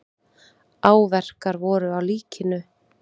Áverkar voru á líkinu.